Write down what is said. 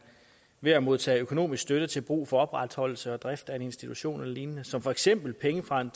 ved at modtage økonomisk støtte til brug for opretholdelse og drift af en institution eller lignende som for eksempel penge fra en